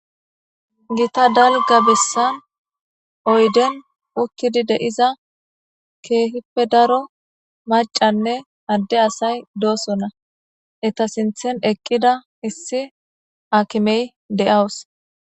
gita dalga bissan oyden ukkidi de7iza keehippe daro macanne adde asay doosonna eta sinthen eqqida issi akimey de7awus